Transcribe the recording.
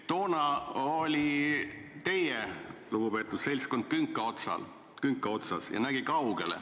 Toona oli teie lugupeetud seltskond künka otsas ja nägi kaugele.